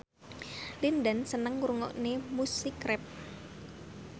Lin Dan seneng ngrungokne musik rap